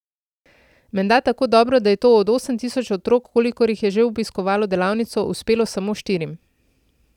Menda tako dobro, da je to od osem tisoč otrok, kolikor jih je že obiskalo delavnico, uspelo samo štirim.